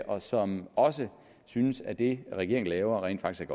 og som også synes at det regeringen laver rent faktisk